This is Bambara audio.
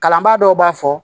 Kalanbaa dɔw b'a fɔ